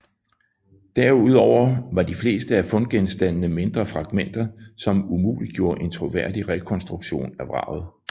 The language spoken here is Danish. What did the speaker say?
Derudover var de fleste af fundgenstandene mindre fragmenter som umuliggjorde en troværdig rekonstruktion af vraget